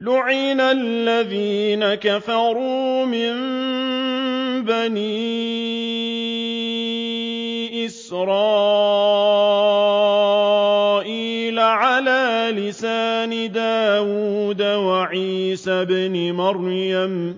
لُعِنَ الَّذِينَ كَفَرُوا مِن بَنِي إِسْرَائِيلَ عَلَىٰ لِسَانِ دَاوُودَ وَعِيسَى ابْنِ مَرْيَمَ ۚ